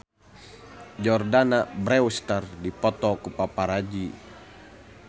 Jordana Brewster dipoto ku paparazi